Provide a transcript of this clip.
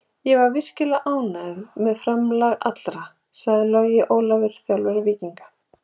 Ég er virkilega ánægður með framlag allra, sagði Logi Ólafsson, þjálfari Víkinga.